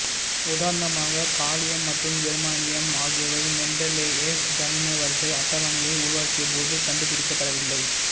உதாரணமாக காலியம் மற்றும் ஜெர்மானியம் ஆகியவை மென்டெலேயேவ் தனிம வரிசை அட்டவணையை உருவாக்கியபோது கண்டுபிடிக்கப்படவில்லை